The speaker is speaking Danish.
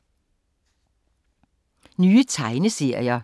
Nye tegneserier